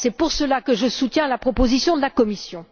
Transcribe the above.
C'est pour cela que je soutiens la proposition de la commission.